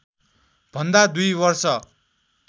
भन्दा दुई वर्ष